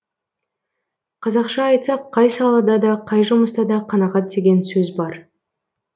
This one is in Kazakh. қазақша айтсақ қай салада да қай жұмыста да қанағат деген сөз бар